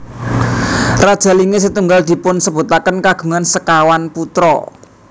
Raja Linge setunggal dipunsebutaken kagungan sekawan putra